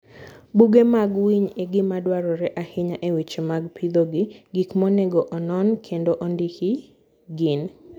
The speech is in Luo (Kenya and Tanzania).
Buge mag winy en gima dwarore ahinya e weche mag pidho gi. Gik monego onon kendo ondiki gin;